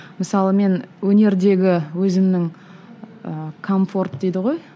мысалы мен өнердегі өзімнің ііі комфорт дейді ғой